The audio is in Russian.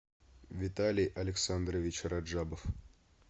виталий александрович раджабов